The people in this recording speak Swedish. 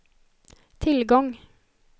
tillgång